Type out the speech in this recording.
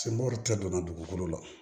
Semɔri tɛ donna dugukolo la